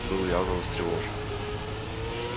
был явно встревожен